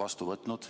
vastu võtnud.